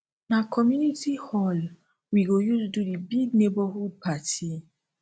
na community hall we go use do di big neighborhood party